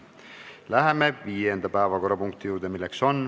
Läheme viienda päevakorrapunkti juurde.